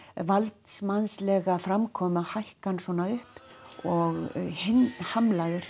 valdsmannslega framkomu að hækka hann svona upp og